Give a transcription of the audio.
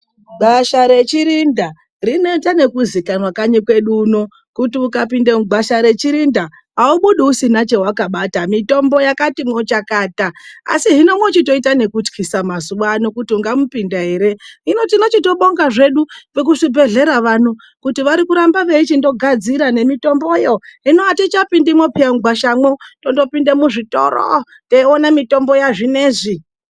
Gwasha rechirinda rinoita nekuzikanwa kanyi kwedu uno kuti ukapinda mugwasha rechirinda aubudi usina chewakabata. Mitombo yakatimwo chakata asi hino mwochitoita nekutyisa mazuwa ano kuti ungamupinda ere, hino tinochitobonga hedu vekuzvibhedhlera vano kuti varikuramba veichindogadzira nemitomboyo, hino atichatopindimwo peya mugwashamwo totopinda muzvitoro, teiwona mitombo yazvinezvi.